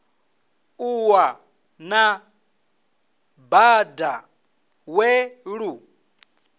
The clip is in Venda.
ṱuwa na bada we lu